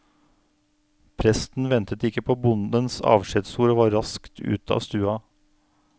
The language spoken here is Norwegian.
Presten ventet ikke på bondens avskjedsord, og var raskt ute av stua.